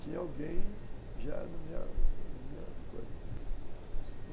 tinha alguém já na na minha coisa.